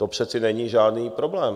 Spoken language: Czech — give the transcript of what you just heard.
To přece není žádný problém.